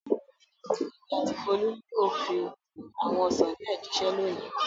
Èmi àti Folú yóò fi àwọn ọsàn díẹ̀ jíṣẹ́ lónìí.